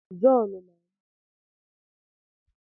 John na-arụkwa saikwutu bureka